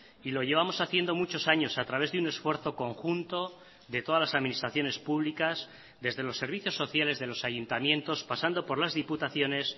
y lo llevamos haciendo muchos años a través de un esfuerzo conjunto de todas las administraciones públicas desde los servicios sociales de los ayuntamientos pasando por las diputaciones